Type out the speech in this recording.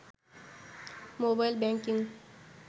mobile banking